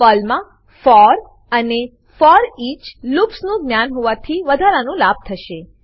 પર્લમાં ફોર અને foreach loops નું જ્ઞાન હોવાથી વધારાના લાભ થશે